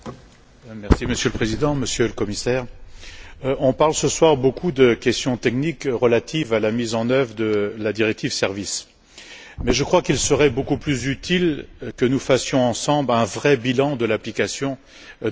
Monsieur le Président, Monsieur le Commissaire, on parle beaucoup ce soir de questions techniques relatives à la mise en œuvre de la directive sur les services, mais je crois qu'il serait beaucoup plus utile que nous fassions ensemble un vrai bilan de l'application de celle ci.